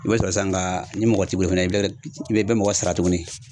I b'a sɔrɔ sisan ga ni mɔgɔ t'i bolo fɛnɛ i bɛ i bɛ mɔgɔ sara tuguni